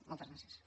moltes gràcies